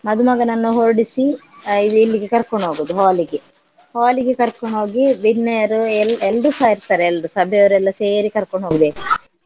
ಮದುಮಗನನ್ನ ಹೊರಡ್ಸಿ ಆ ಇಲ್ಲಿಗೆ ಕರ್ಕೊಂಡು ಹೋಗುದು hall ಗೆ hall ಗೆ ಕರ್ಕೊಂಡ್ ಹೋಗಿ ಬಿನ್ನೆರ್ ಎಲ್~ ಎಲ್ರುಸಾ ಇರ್ತಾರೆ ಎಲ್ರು ಸಭೆಯವರೆಲ್ಲ ಸೇರಿ ಕರ್ಕೊಂಡ್ ಹೋಗ್ಬೇಕು .